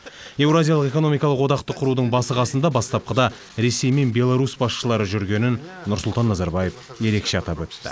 еуразиялық экономикалық одақты құрудың басы қасында бастапқыда ресей мен беларусь басшылары жүргенін нұрсұлтан назарбаев ерекше атап өтті